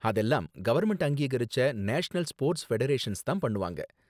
அதெல்லாம் கவர்ன்மெண்ட் அங்கீகரிச்ச national sports federations தான் பண்ணுவாங்க